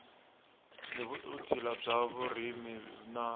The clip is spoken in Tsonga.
ni vutshila bya vurimi na